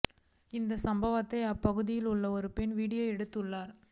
இந்த சம்பவத்தை அப்பகுதியில் உள்ள ஒரு பெண் வீடியோ எடுத்துள்ளார்